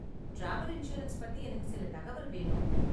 Travel insurance பத்தி எனக்கு சில தகவல் வேணும்.